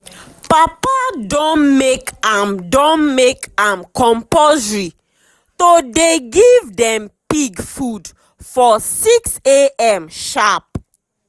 papa don make am don make am compulsory to dey give dem pig food for 6am sharp.